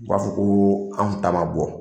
U b'a fɔ ko anw ta ma bɔ